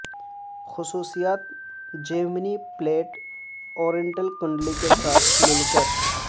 خصوصیات Gemini plate oriental کنڈلی کے ساتھ مل کر